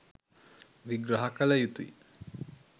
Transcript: විග්‍රහ කල යුතුයි